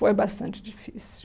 Foi bastante difícil.